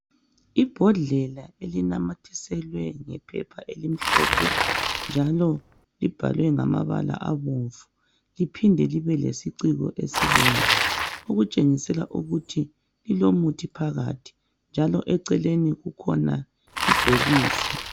Ibhodlela elinamathiselwe ngephepha elimhlophe njalo libhalwe ngamabala abomvu, liphinde futhi libe lesiciko esibomvu, okutshengisela ukuthi kulomuthi phakathi njalo eceleni kukhona ibhokisi.